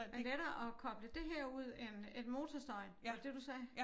Det lettere at koble det her ud end end motorstøjen var det det du sagde?